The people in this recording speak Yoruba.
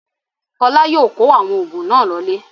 Fọlá yóò kó àwọn oògùn náà lọlé.